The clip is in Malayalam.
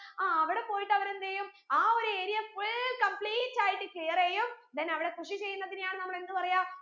ആ അവിടെ പോയിട്ട് അവര് എന്തെയ്യും ആ ഒരു area full complete ആയിട്ട് clear എയ്യും then അവിടെ കൃഷി ചെയ്യുന്നതിനെയാണ് നമ്മൾ എന്ത് പറയാ